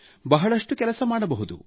ಬಹಳಷ್ಟು ಕೆಲಸ ಮಾಡಬಹುದು